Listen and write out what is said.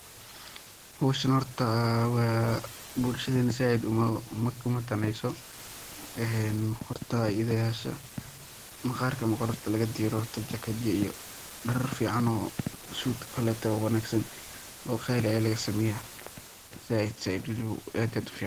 Howshan horta bulshadena zaid uma daneyso een horta idhayasha, maqarka ama qolofta lagadiro jaked yaa iyo darar fican oo suud o kaleto oo wanagsan oo qaali aya laga sameyaa.